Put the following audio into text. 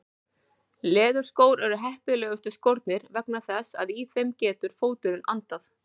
Leðurskór eru heppilegustu skórnir vegna þess að í þeim getur fóturinn andað.